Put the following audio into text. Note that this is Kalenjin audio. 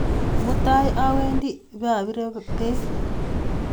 Mutai awendi paapire peek.